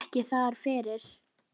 Þetta eru bara töfrar.